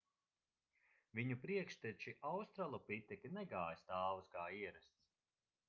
viņu priekšteči australopiteki negāja stāvus kā ierasts